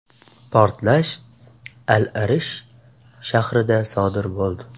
Portlash Al-Arish shahrida sodir bo‘ldi.